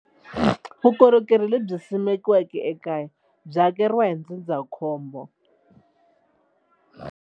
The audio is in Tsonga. Vukorhokeri lebyi simekiweke ekaya byi hakeriwa hi ndzindzakhombo.